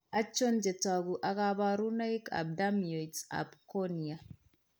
Achon chetogu ak kaborunoik ab Dermoids ab cornea?